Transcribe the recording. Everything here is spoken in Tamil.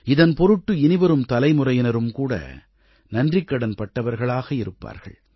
இதன் பொருட்டு இனிவரும் தலைமுறையினரும் கூட நன்றிக்கடன் பட்டவர்களாக இருப்பார்கள்